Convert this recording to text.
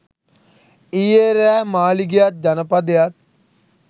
ඊයෙ රෑ මාළිගයත් ජනපදයත්